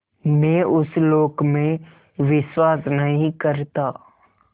मैं उस लोक में विश्वास नहीं करता